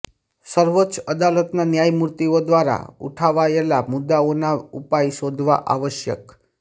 સર્વોચ્ચ અદાલતના ન્યાયમૂર્તિઓ દ્વારા ઉઠાવાયેલા મુદ્દાઓના ઉપાય શોધવા આવશ્યક